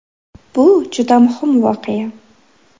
Bu juda muhim voqea.